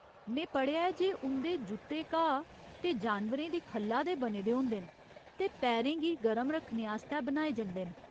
में पढ़ेआ ऐ जे उं'दे जुत्ते घाऽ ते जानवरें दी खल्ला दे बने दे होंदे न ते पैरें गी गरम रक्खने आस्तै बनाए जंदे न।